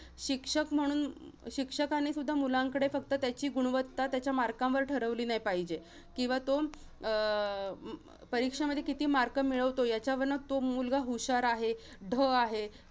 शिक्षक म्हणून. शिक्षकानेसुद्धा मुलांकडे फक्त त्याची गुणवत्ता, त्याच्या marks वर ठरवली नाही पाहिजे. किंवा तो अं परीक्षेमध्ये किती mark मिळवतो, याच्यावरनं तो मुलगा हुशार आहे, ढ आहे,